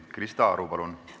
Krista Aru, palun!